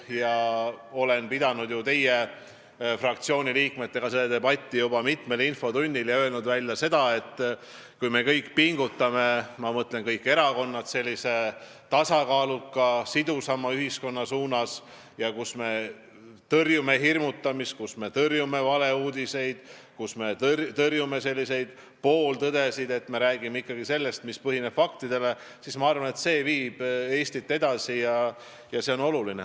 Ma olen pidanud teie fraktsiooni liikmetega seda debatti juba mitmes infotunnis ja olen öelnud, et kui me kõik pingutame – ma mõtlen, et kõik erakonnad –liikumise nimel tasakaaluka ja sidusama ühiskonna suunas, kus me tõrjume hirmutamist, valeuudiseid, pooltõdesid, kus me räägime ikkagi seda, mis põhineb faktidel, siis, ma arvan, see viib Eestit edasi ja on oluline.